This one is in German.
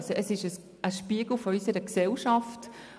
Es handelt sich um einen Spiegel unserer Gesellschaft.